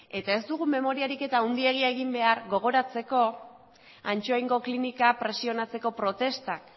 eta ez dugu memoria ariketa handirik egin behar gogoratzeko ansoaingo klinika presionatzeko protestak